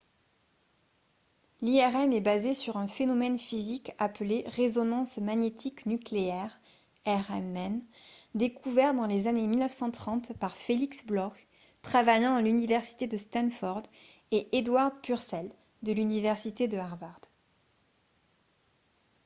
l’irm est basée sur un phénomène physique appelé résonance magnétique nucléaire rmn découvert dans les années 1930 par felix bloch travaillant à l’université de stanford et edward purcell de l’université de harvard